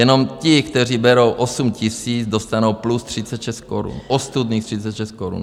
Jenom ti, kteří berou 8 000, dostanou plus 36 korun, ostudných 36 korun.